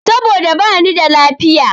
Saboda bani da lafiya.